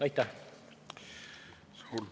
Aitäh!